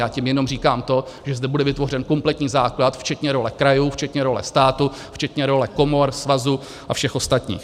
Já tím jenom říkám to, že zde bude vytvořen kompletní základ včetně role krajů, včetně role státu, včetně role komor, svazů a všech ostatních.